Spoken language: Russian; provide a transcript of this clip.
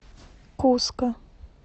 куско